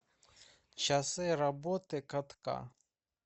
часы работы катка